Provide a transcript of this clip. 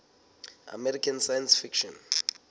american science fiction